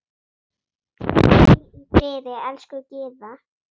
Hvíl í friði, elsku Gyða.